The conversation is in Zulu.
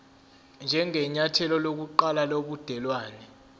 njengenyathelo lokuqala lobudelwane